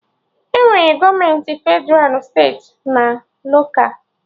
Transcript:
Enwere gọọmenti Fedralụ, steeti na loka